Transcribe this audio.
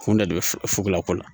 Kunda de bɛ fuko la ko la